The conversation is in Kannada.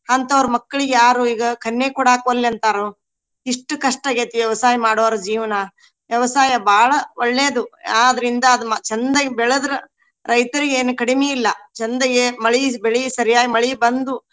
ಅಂತವ್ರ ಮಕ್ಳಿಗೆ ಯಾರು ಈಗ ಕನ್ಯೆ ಕೋಡಾಕ್ ಒಲ್ಲೆ ಅಂತಾರು. ಇಷ್ಟ್ ಕಷ್ಟ ಆಗೇತಿ ವ್ಯವಸಾಯ ಮಾಡೊವ್ರ ಜೀವನಾ. ವ್ಯವಸಾಯ ಬಾಳ ಒಳ್ಳೇದು. ಆದ್ರಿಂದ ಅದ್ ಚಂದಗೆ ಬೆಳದ್ರ ರೈತರಿಗೆನ ಕಡಿಮಿ ಇಲ್ಲಾ ಚಂದಗೆ ಮಳಿ ಬೆಳಿ ಸರಿಯಾಗಿ ಮಳಿ ಬಂದು.